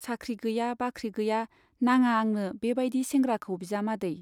साख्रि गैया बाख्रि गैया नाङा आंनो बे बाइदि सेंग्राखौ बिजामादै।